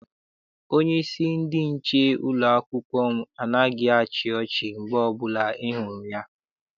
Onyeisi ndị nche ụlọakwụkwọ m anaghị achị ọchi mgbe ọbụla I hụrụ ya.